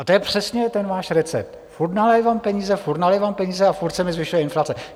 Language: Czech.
A to je přesně ten váš recept: furt nalévám peníze, furt nalévám peníze a furt se mi zvyšuje inflace.